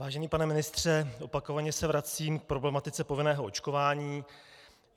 Vážený pane ministře, opakovaně se vracím k problematice povinného očkování.